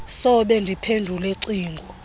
sobe ndiphendule cingo